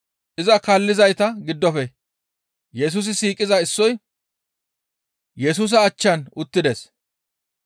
Iza kaallizayta giddofe Yesusi siiqiza issoy Yesusa achchan uttides.